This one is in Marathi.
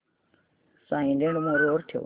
सायलेंट मोड वर ठेव